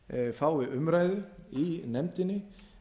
fái umræðu í nefndinni